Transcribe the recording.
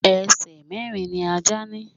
Ẹsẹ̀ mẹ̀rin ni Ajá ni.